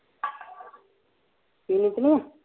ਪੀਣੀ ਤੇ ਨੀ ਆ